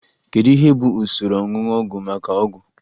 Kedu ihe bụ usoro oñuñu ọgwụ maka ọgwụ?